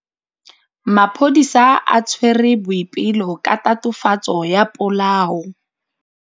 Maphodisa a tshwere Boipelo ka tatofatsô ya polaô.